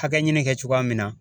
Hakɛɲini kɛ cogoya min na